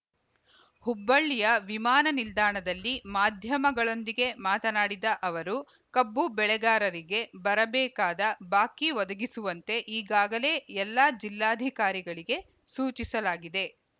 ಹುಬ್ಬಳ್ಳಿಯ ವಿಮಾನ ನಿಲ್ದಾಣದಲ್ಲಿ ಮಾಧ್ಯಮಗಳೊಂದಿಗೆ ಮಾತನಾಡಿದ ಅವರು ಕಬ್ಬು ಬೆಳೆಗಾರಿಗೆ ಬರಬೇಕಾದ ಬಾಕಿ ಒದಗಿಸುವಂತೆ ಈಗಾಗಲೇ ಎಲ್ಲ ಜಿಲ್ಲಾಧಿಕಾರಿಗಳಿಗೆ ಸೂಚಿಸಲಾಗಿದೆ